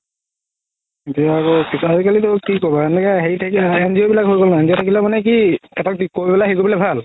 এতিয়া আৰু আজিকালিতো কি ক'বা এনেকুৱা NGO বিলাক হয় গ'ল নহয় NGO থাকিলে মানে কি এটাক হেৰি কৰিবলৈ ভাল